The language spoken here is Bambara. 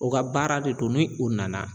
O ga baara de don ni u nana